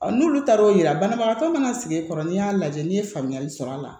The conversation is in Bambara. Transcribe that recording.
n'olu taar'o yira banabagatɔ mana sigi kɔrɔ ni y'a lajɛ n'i ye faamuyali sɔrɔ a la